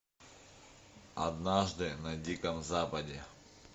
однажды на диком западе